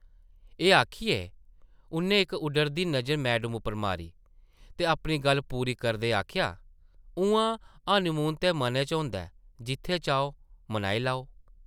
एह् आखियै उʼन्नै इक उड्डरदी नज़र मैडम उप्पर मारी ते अपनी गल्ल पूरी करदे आखेआ, ‘‘उʼआं हनीमून ते मनै च होंदा ऐ; जित्थै चाहो, मनाई लैओ।’’